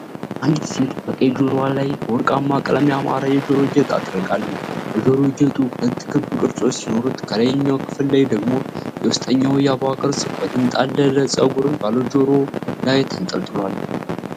አንዲት ሴት በቀኝ ጆሮዋ ላይ፣ በወርቃማ ቀለም ያማረ የጆሮ ጌጥ አጥልቃለች። የጆሮ ጌጡ ሁለት ክብ ቅርጾች ሲኖሩት ከላይኛው ክፍል ላይ ደግሞ የውስጠኛው የአበባ ቅርጽ በተንጣለለ ፀጉር ባለው ጆሮ ላይ ተንጠልጥሏል።